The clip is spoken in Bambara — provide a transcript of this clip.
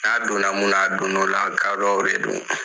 N'a donna mun naa a donna ola gadɔw de do